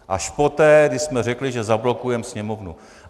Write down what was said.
Až poté, když jsme řekli, že zablokujeme Sněmovnu.